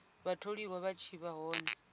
vhatholiwa vha tshi vha hone